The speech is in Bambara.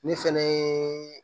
Ne fɛnɛ ye